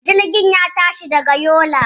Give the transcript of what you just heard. Jirgin ya tashi daga Yola.